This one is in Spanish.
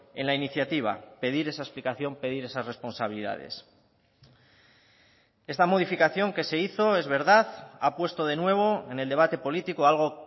en la iniciativa pedir esa explicación pedir esas responsabilidades esta modificación que se hizo es verdad ha puesto de nuevo en el debate político algo